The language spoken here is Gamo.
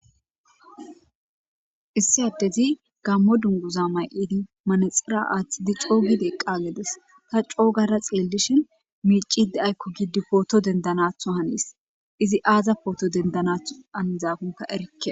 Issi addezi gaamo dunguza maydi manexera athidi Co gidi eqagides ta co gada xellishin Miccidi ayko gidi Poto dendanatho izi aza Poto Dendanako hanizakon Erike